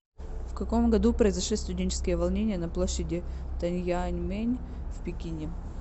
в каком году произошли студенческие волнения на площади тяньаньмэнь в пекине